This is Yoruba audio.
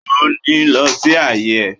O ò ní lọ sí àyè ẹ̀.